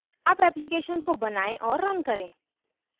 अब application को बनाएँ और रन करें